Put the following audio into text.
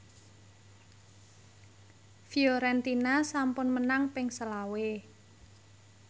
Fiorentina sampun menang ping selawe